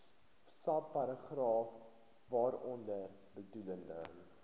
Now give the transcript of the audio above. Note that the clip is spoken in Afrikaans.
subparagraaf waaronder bedoelde